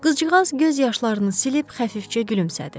Qızcığaz göz yaşlarını silib xəfifcə gülümsədi.